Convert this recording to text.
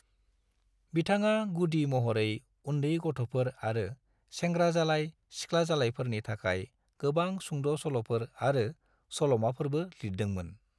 बिथाङा गुदि महरै उनदै गथ'फोर आरो सेंग्राजालाय/सिख्लाजालायफोरनि थाखाय गोबां सुंद' सल'फोर आरो सल'माफोरबो लिरदोंमोन।